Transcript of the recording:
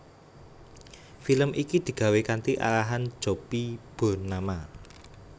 Film iki digawé kanthi arahan Jopie Burnama